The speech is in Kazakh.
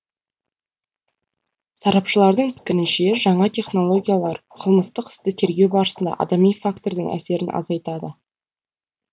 сарапшылардың пікірінше жаңа технологиялар қылмыстық істі тергеу барысында адами фактордың әсерін азайтады